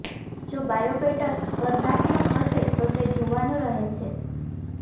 જો બાયોબેટર્સ સ્પર્ધાત્મક હશે તો તે જોવાનું રહે છે